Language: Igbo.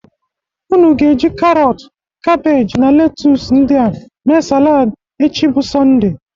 Ụnụ ga-eji karọtụ, kabeji na letus ndịa me saladị echi bụ Sọnde.